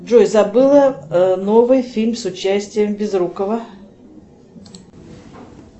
джой забыла новый фильм с участием безрукова